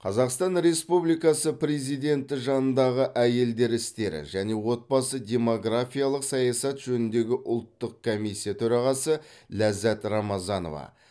қазақстан республикасы президенті жанындағы әйелдер істері және отбасы демографиялық саясат жөніндегі ұлттық комиссия төрағасы ләззат рамазанова